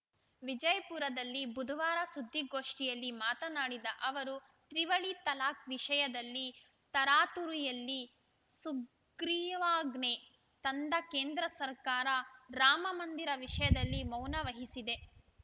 ವಿಜಯಪುರದಲ್ಲಿ ಬುಧವಾರ ಸುದ್ದಿಗೋಷ್ಠಿಯಲ್ಲಿ ಮಾತನಾಡಿದ ಅವರು ತ್ರಿವಳಿ ತಲಾಖ್‌ ವಿಷಯದಲ್ಲಿ ತರಾತುರಿಯಲ್ಲಿ ಸುಗ್ರೀವ್ ವಾಜ್ಞೆ ತಂದ ಕೇಂದ್ರ ಸರ್ಕಾರ ರಾಮಮಂದಿರ ವಿಷಯದಲ್ಲಿ ಮೌನ ವಹಿಸಿದೆ